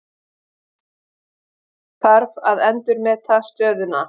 Þarf að endurmeta stöðuna